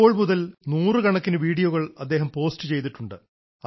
അപ്പോൾ മുതൽ നൂറുകണക്കിന് വീഡിയോകൾ അദ്ദേഹം പോസ്റ്റ് ചെയ്തിട്ടുണ്ട്